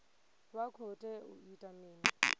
vha khou tea u ita mini